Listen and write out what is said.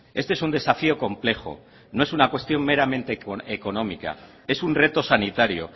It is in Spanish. este es un desafío complejo no es una cuestión meramente económica es un reto sanitario